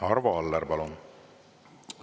Arvo Aller, palun!